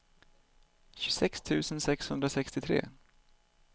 tjugosex tusen sexhundrasextiotre